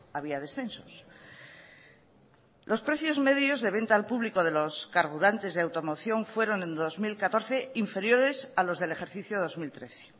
había descensos los precios medios de venta al público de los carburantes de automoción fueron en dos mil catorce inferiores a los del ejercicio dos mil trece